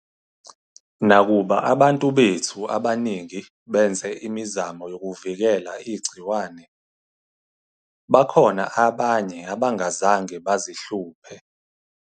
Nakuba abantu bethu abaningi benze imizamo yokuvikela igciwane, bakhona abanye abangazange bazihluphe.